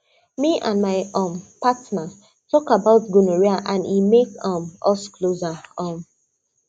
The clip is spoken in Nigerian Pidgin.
me and my um partner talk about gonorrhea and e make um us closer um